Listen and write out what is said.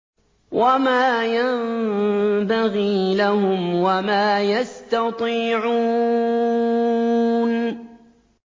وَمَا يَنبَغِي لَهُمْ وَمَا يَسْتَطِيعُونَ